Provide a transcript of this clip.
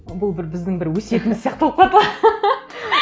бұл бір біздің бір өсиетіміз сияқты болып қалады ғой